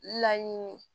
Laɲini